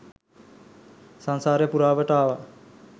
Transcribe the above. සංසාරය පුරාවට ආවා.